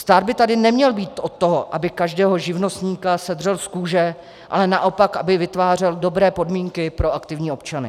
Stát by tady neměl být od toho, aby každého živnostníka sedřel z kůže, ale naopak, aby vytvářel dobré podmínky pro aktivní občany.